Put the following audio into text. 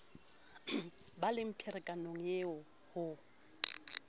ba le pherekano eo ho